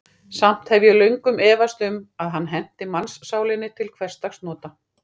Samt hef ég löngum efast um, að hann henti mannssálinni til hversdagsnota.